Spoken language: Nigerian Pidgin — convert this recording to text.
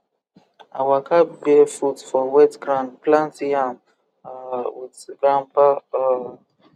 i waka barefoot for wet ground plant yam um with grandpa um